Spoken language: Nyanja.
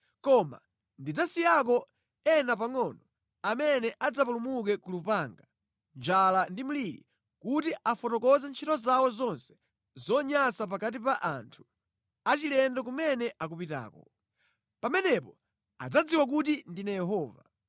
Koma ndidzasiyako ena pangʼono amene adzapulumuke ku lupanga, njala ndi mliri, kuti akafotokoze ntchito zawo zonse zonyansa pakati pa anthu achilendo kumene akupitako. Pamenepo adzadziwa kuti ndine Yehova.”